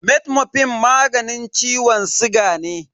Metformin magani ciwon siga ne.